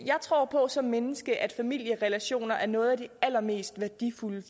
tror på som menneske at familierelationer er noget af det allermest værdifulde